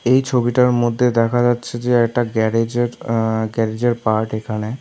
এই ছবিটার মধ্যে দেখা যাচ্ছে যে একটা গ্যারেজের আঃ গ্যারেজের পার্ট এখানে।